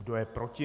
Kdo je proti?